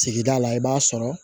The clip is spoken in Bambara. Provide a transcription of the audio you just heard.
Sigida la i b'a sɔrɔ